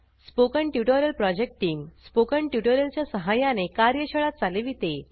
spoken tutorial project team spoken tutorial च्या सहाय्याने कार्यशाळा चालविते